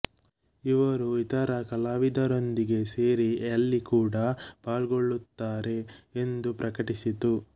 ಇವರು ಇತರ ಕಲಾವಿದರೊಂದಿಗೆ ಸೇರಿ ಯಲ್ಲಿ ಕೂಡ ಪಾಲ್ಗೊಳ್ಳುತ್ತಾರೆ ಎಂದು ಪ್ರಕಟಿಸಿತು